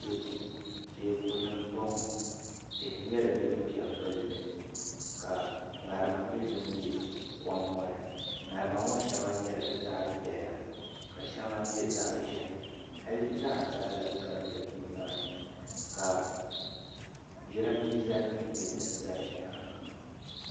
Teeku n boŋo tihi nyɛla din pɛ n gilli ka ŋarima nyɛ din bɛ kom ŋo ni ŋarima ŋo shɛŋa nyɛla zaɣ piɛla ka shɛŋa nyɛ zaɣ ʒiɛhi hali zaɣ sabila gabila nimaani ka jiranbiisa nim nyɛ din ʒɛ di nyaanga